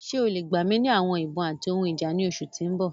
Ṣe o le gba mi ni awọn ibon ati awọn ohun ija ni oṣu ti n bọ?